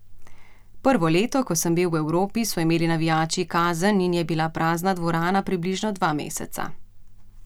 Prvo leto, ko sem bil v Evropi, so imeli navijači kazen in je bila prazna dvorana približno dva meseca.